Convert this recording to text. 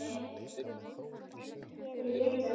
Þau éta þær.